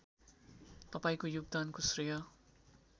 तपाईँको योगदानको श्रेय